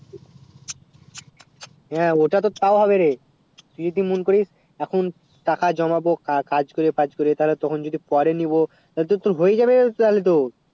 হেঁ অত্তু তো তও হবে রে তুই জেদি মন করিস এখন টাকা জমাবো কাজ করিয়ে ফাজ করিয়ে তালে তখন যদি পরে নিবো তালে তো তোর হয়েই যাবে রে ওচালিত